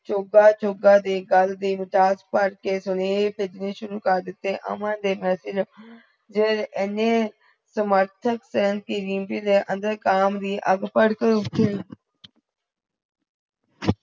ਚੋਗਾ ਚੋਗਾ ਦੇ ਗਲ ਦੇ ਵਿਚਾਰ ਪਾਠ ਕੇ ਸੁਣੇ ਤੇ ਅਮਨ ਦੇ message ਦੇਰ ਏਨੇ ਸਮਰਥਕ ਥੇ ਕਿ ਰੀਮਪੀ ਦੇ ਅੰਦਰ ਕਾਮ ਦੀ ਅੱਗ ਭੜਕ ਉਠਿ